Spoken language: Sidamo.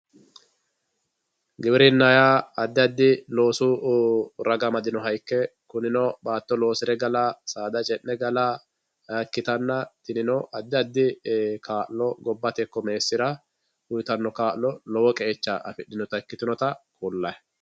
giwirinna yaa addi addi loosu raga amadinoha ikke kunino baatto loosire gala saada ce'ne gala ikkitanna tinino addi addi kaa'lo gobbate ikko meessira uytanno kaa'lo lowo qeecha ikkitinnota kulayi